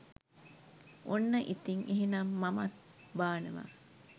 ඔන්න ඉතින් එහෙනම් මමත් බානවා